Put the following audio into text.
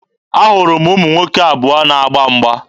Ahụrụ ụmụ nwoke abụọ na-agba mgba.